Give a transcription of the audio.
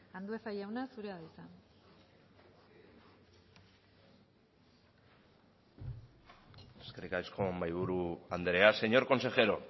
andueza jauna zurea da hitza eskerrik asko mahaiburu andrea señor consejero